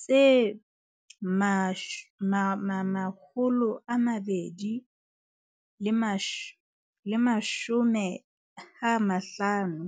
tse 250 tsa poone matsatsing a kajeno.